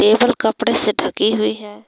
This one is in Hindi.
टेबल कपड़े से ढकी हुई है।